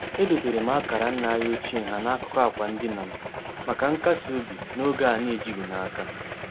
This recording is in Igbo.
Edoteere m akara nna anyị ochie ha n'akụkụ akwa ndina m maka nkas obi n'oge a na-ejighị n'aka.